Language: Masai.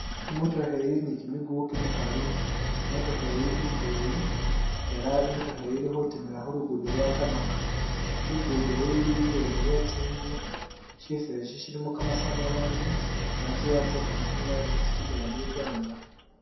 Omotokha eyi ili ni kimukuku kimikali , emotokha eyi indeyi ela imotokha eyi ili khutimula khulugudo lwa turmac, lugudo lu’luli ebweni we’tsitsu , shifo shi shilimo kamasanyalazi ela tsi wire tse kamasanyalazi tsitimila mwibanga .